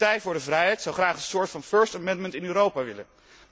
De Partij voor de Vrijheid zou graag een soort van first amendment in Europa willen.